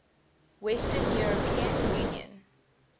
western european union